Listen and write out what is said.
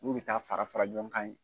Ulu bɛ taa fara fara ɲɔn kan ye.